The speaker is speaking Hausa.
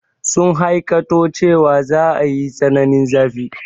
Sun hakaito cewa za a yi tsananin zafi.